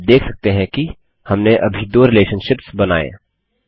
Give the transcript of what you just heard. आप देख सकते हैं कि हमने अभी दो रिलेशनशिप्स बनाये